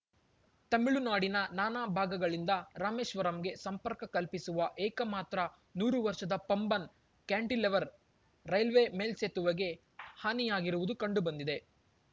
ತಮಿಳುನಾಡಿನ ನಾನಾ ಭಾಗಗಳಿಂದ ರಾಮೇಶ್ವರಂಗೆ ಸಂಪರ್ಕ ಕಲ್ಪಿಸುವ ಏಕಮಾತ್ರ ನೂರು ವರ್ಷದ ಪಂಬನ್‌ ಕ್ಯಾಂಟಿಲೆವರ್‌ ರೈಲ್ವೆ ಮೇಲ್ಸೇತುವೆಗೆ ಹಾನಿಯಾಗಿರುವುದು ಕಂಡುಬಂದಿದೆ